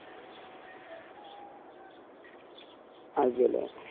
IPL A